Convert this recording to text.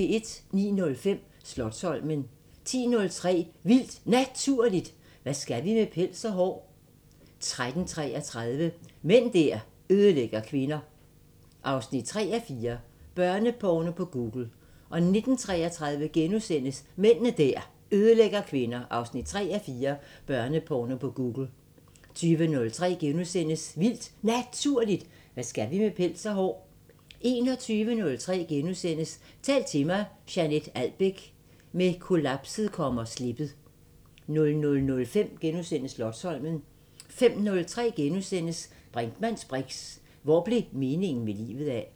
09:05: Slotsholmen 10:03: Vildt Naturligt: Hvad skal vi med pels og hår? 13:33: Mænd der ødelægger kvinder 3:4 – Børneporno på Google 19:33: Mænd der ødelægger kvinder 3:4 – Børneporno på Google * 20:03: Vildt Naturligt: Hvad skal vi med pels og hår? * 21:03: Tal til mig – Jeanett Albeck: Med kollapset kommer slippet * 00:05: Slotsholmen * 05:03: Brinkmanns briks: Hvor blev meningen med livet af? *